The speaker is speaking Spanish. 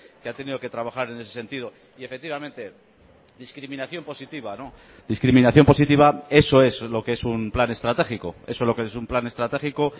que ha tenido que trabajar en ese sentido y efectivamente discriminación positiva discriminación positiva eso es lo que es un plan estratégico eso es lo que es un plan estratégico